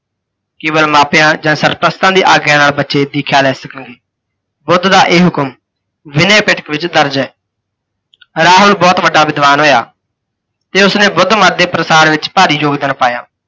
ਕੇਵਲ ਮਾਪਿਆਂ ਜਾਂ ਸਰਪ੍ਰਸਤਾਂ ਦੀ ਆਗਿਆ ਨਾਲ ਬੱਚੇ ਦੀਖਿਆ ਲੈ ਸਕਣਗੇ। ਬੁੱਧ ਦਾ ਇਹ ਹੁਕਮ ਵਿਨੇ ਪਿਠ ਵਿੱਚ ਦਰਜ ਹੈ। ਰਾਹੁਲ ਬਹੁਤ ਵੱਡਾ ਵਿਧਵਾਨ ਹੋਇਆ ਤੇ ਉਸਨੇ ਬੁੱਧ ਮਤ ਦੇ ਪ੍ਰਸਾਰ ਵਿੱਚ ਭਾਰੀ ਯੋਗਦਾਨ ਪਾਇਆ।